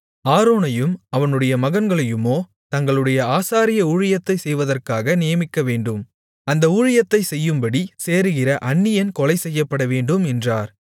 ஆரோனையும் அவனுடைய மகன்களையுமோ தங்களுடைய ஆசாரிய ஊழியத்தைச் செய்வதற்காக நியமிக்கவேண்டும் அந்த ஊழியத்தைச் செய்யும்படி சேருகிற அந்நியன் கொலைசெய்யப்படவேண்டும் என்றார்